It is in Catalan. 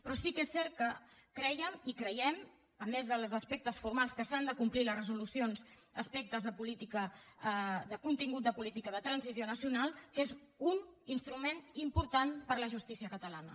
però sí que és cert que crèiem i creiem a més dels aspectes formals que s’han de complir les resolucions aspectes de contingut de política de transició nacional que és un instrument important per a la justícia catalana